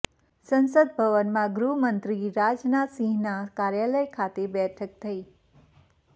સંસદ ભવનમાં ગૃહમંત્રી રાજનાથ સિંહના કાર્યાલય ખાતે બેઠક થઈ